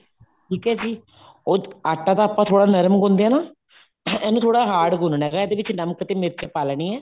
ਠੀਕ ਹੈ ਜੀ ਉਹ ਆਟਾ ਤਾਂ ਆਪਾਂ ਥੋੜਾ ਨਰਮ ਗੁੰਨਦੇ ਆ ਨਾ ਇਹਨੂੰ ਥੋੜਾ hard ਗੁੰਨਣਾ ਹੈਗਾ ਇਹਦੇ ਵਿੱਚ ਨਮਕ ਤੇ ਮਿਰਚ ਪਾ ਲੈਣੀ ਹੈ